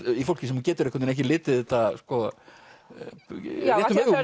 í fólki sem getur einhvern veginn ekki litið þetta réttum augum